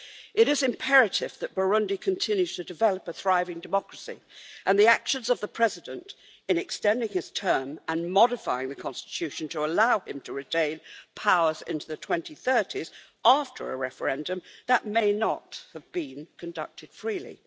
It is imperative that Burundi continues to develop a thriving democracy, despite the actions of the President in extending his term and modifying the country's constitution to allow him to retain powers into the 2030s, after a referendum that may not have been conducted freely.